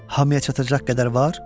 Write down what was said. Hamıya çatacaq qədər var?